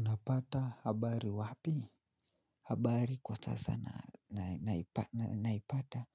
Napata habari wapi? Habari kwa sasa naipata